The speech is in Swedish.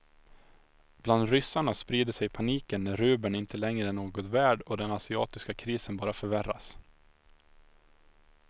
Bland ryssarna sprider sig paniken när rubeln inte längre är något värd och den asiatiska krisen bara förvärras.